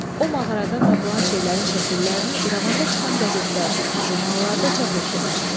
O mağaradan tapılan şeylərin şəkillərini İrəvanda çıxan qəzetlərdə, jurnallarda çap etdirmişdi.